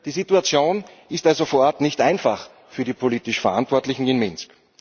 Die Situation ist also vor Ort nicht einfach für die politisch Verantwortlichen in Minsk.